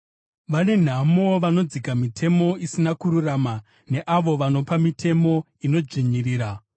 Vane nhamo vanodzika mitemo isina kururama, neavo vanopa mitemo inodzvinyirira,